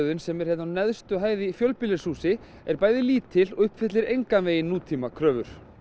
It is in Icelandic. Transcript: slökkvistöðin sem er á neðstu hæð í fjölbýlishúsi er bæði lítil og uppfyllir engan veginn nútímakröfur